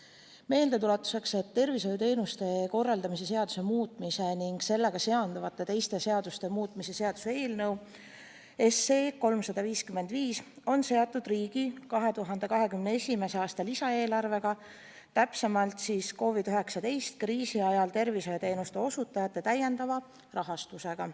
Ütlen meeldetuletuseks, et tervishoiuteenuste korraldamise seaduse muutmise ning sellega seonduvalt teiste seaduste muutmise seaduse eelnõu 355 on seotud riigi 2021. aasta lisaeelarvega, täpsemalt COVID-19 kriisi ajal tervishoiuteenuste osutajate täiendava rahastamisega.